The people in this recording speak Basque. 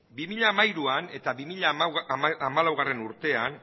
bi mila hamairuan eta bi mila hamalaugarrena urtean